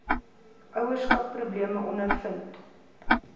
ouerskap probleme ondervind